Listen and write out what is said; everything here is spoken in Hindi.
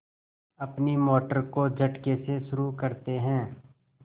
अपनी मोटर को झटके से शुरू करते हैं